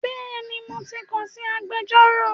Bẹ́ẹ̀ni mo ti kàn sí agbẹjọ́rò